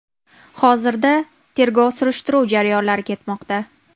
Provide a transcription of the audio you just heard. Hozirda tergov-surishtiruv jarayonlari ketmoqda.